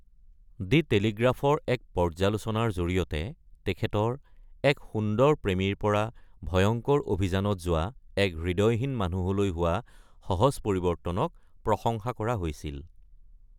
দি টেলিগ্ৰাফৰ এক পৰ্যালোচনাৰ জৰিয়তে তেখেতৰ “এক সুন্দৰ প্ৰেমীৰ পৰা ভয়ংকৰ অভিযানত যোৱা এক হৃদয়হীন মানুহলৈ হোৱা সহজ পৰিৱৰ্তন"ক প্ৰশংসা কৰা হৈছিল।